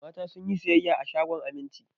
Mata sun yi sayayya a shagon Aminci.